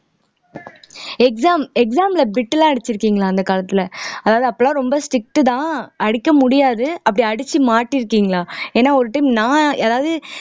exam exam ல bit எல்லாம் அடிச்சிருக்கீங்களா அந்த காலத்துல அதாவது அப்பெல்லாம் ரொம்ப strict தான் அடிக்க முடியாது அப்படி அடிச்சு மாட்டி இருக்கீங்களா ஏன்னா ஒரு time நான் அதாவது